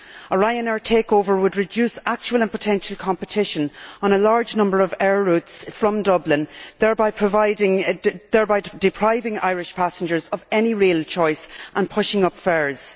A Ryanair takeover would reduce actual and potential competition on a large number of air routes from Dublin, thereby depriving Irish passengers of any real choice and pushing up fares.